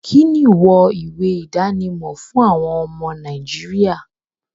Kíni wọ ìwé idánimọ̀ fún àwọn ọmọ Nàìjíríà?